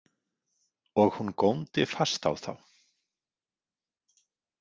Og hún góndi fast á þá.